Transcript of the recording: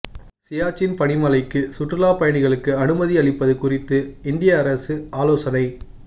சியாச்சின் பனிமலைக்கு சுற்றுலா பயணிகளுக்கு அனுமதி அளிப்பது குறித்து இந்திய அரசு ஆலோசனை